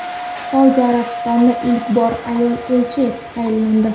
Saudiya Arabistonida ilk bor ayol elchi etib tayinlandi.